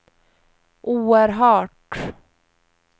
oerhört